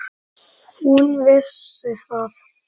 En hún vissi það.